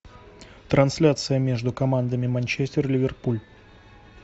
трансляция между командами манчестер ливерпуль